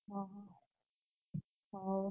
ଓହୋ ହଉ।